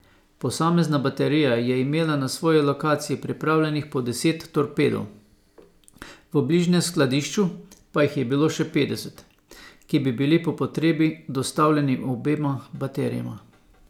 Posamezna baterija je imela na svoji lokaciji pripravljenih po deset torpedov, v bližnjem skladišču pa jih je bilo še petdeset, ki bi bili po potrebi dostavljeni obema baterijama.